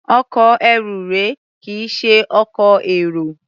Ọkọ̀ ẹrù rèé, kì í ṣe ọkọ̀ èrò.